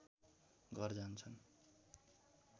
घर जान्छन्